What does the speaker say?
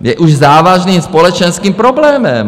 Je už závažným společenským problémem.